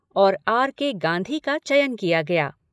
और R. K. Gandhi का चयन किया गया।